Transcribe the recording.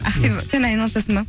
ақбибі сен айналысасың ба